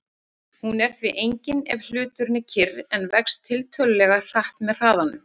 Hún er því engin ef hluturinn er kyrr en vex tiltölulega hratt með hraðanum.